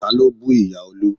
Ta ló bú ìyá Olú?